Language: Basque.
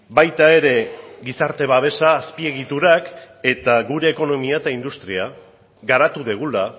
baita ere gizarte babesa azpiegiturak eta gure ekonomia eta industria garatu dugula